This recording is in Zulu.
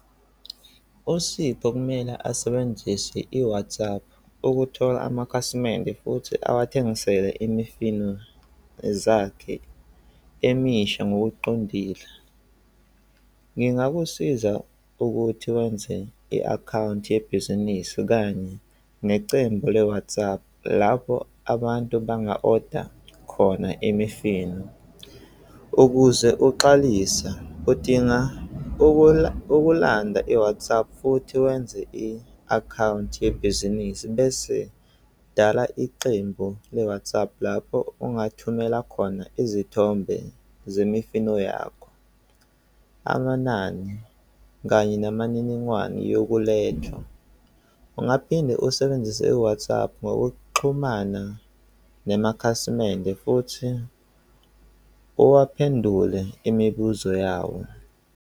Usipho okumele asebenzise i-WhatsApp ukuthola amakhasimende futhi awathengisele imifino zakhe emisha ngokuqondile. Ngingakusiza ukuthi wenze i-akhawunti yebhizinisi kanye necembu le-WhatsApp lapho abantu banga-order khona emifino. Ukuze uqalisa udinga ukulawula i-WhatsApp futhi wenze i-akhawunti yebhizinisi bese dala iqembu le-WhatsApp lapho ungathumela khona izithombe zemifino yakho, amanani kanye namaniningwane yokulethwa. Ungaphinde usebenzise i-WhatsApp ngokuxhumana namakhasimende futhi owaphendule imibuzo yawo.